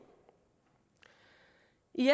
i